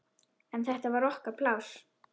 En þetta var okkar pláss.